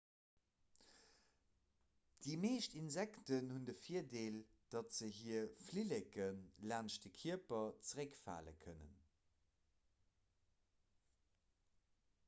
déi meescht insekten hunn de virdeel datt se hir flilleke laanscht de kierper zeréckfale kënnen